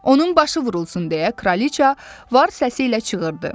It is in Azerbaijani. Onun başı vurulsun deyə kraliçə var səsi ilə çığırdı.